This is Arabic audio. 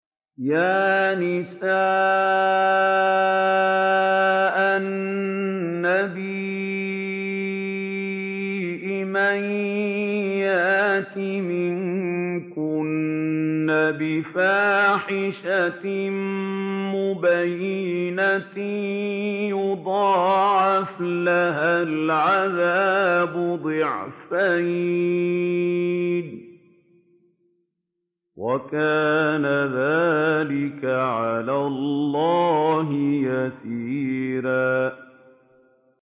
يَا نِسَاءَ النَّبِيِّ مَن يَأْتِ مِنكُنَّ بِفَاحِشَةٍ مُّبَيِّنَةٍ يُضَاعَفْ لَهَا الْعَذَابُ ضِعْفَيْنِ ۚ وَكَانَ ذَٰلِكَ عَلَى اللَّهِ يَسِيرًا